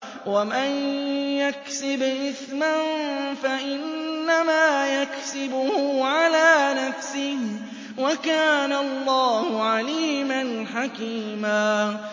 وَمَن يَكْسِبْ إِثْمًا فَإِنَّمَا يَكْسِبُهُ عَلَىٰ نَفْسِهِ ۚ وَكَانَ اللَّهُ عَلِيمًا حَكِيمًا